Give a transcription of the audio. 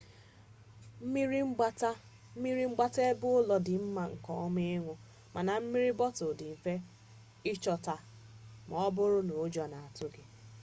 mmiri mgbata ebeụlọ dị mma nke ọma ịn̄ụ mana mmiri bọtụlụ dị mfe ịchọta ma ọ bụrụ na ụjọ na-atụ gị